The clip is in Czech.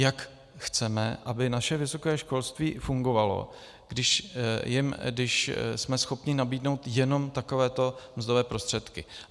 Jak chceme, aby naše vysoké školství fungovalo, když jsme schopni nabídnout jenom takové mzdové prostředky?